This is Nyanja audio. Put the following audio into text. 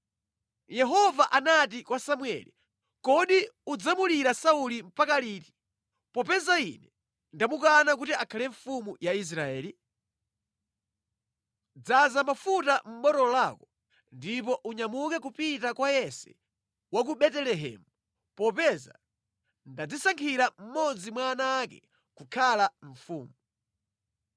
Yehova anati kwa Samueli, “Kodi udzamulira Sauli mpaka liti, popeza Ine ndamukana kuti akhale mfumu ya Israeli? Dzaza mafuta mʼbotolo lako ndipo unyamuke kupita kwa Yese wa ku Betelehemu popeza ndadzisankhira mmodzi mwa ana ake kukhala mfumu.”